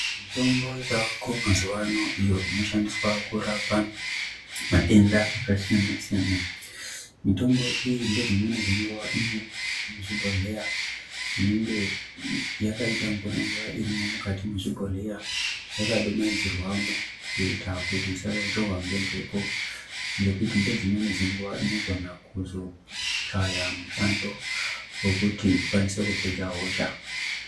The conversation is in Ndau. Mitombo yavako mazuvano iyo inoshandiswa kurapa matenda akasiyana-siyana, Mitombo iyi ngedzimweni dzenguva ino muzvibhodhleya zvinenge yakaita mvura-mvura irimwo mwukati mwezvibhodhleya yakadumhaidzirwamwo kuita kuti isarohwa ngembepo, ngekuti ngedzimweni dzenguva inogona kuzochaya mushando wokuti ikwanise kupedza hosha.